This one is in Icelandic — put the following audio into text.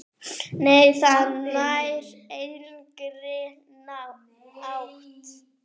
Nei, það nær engri átt.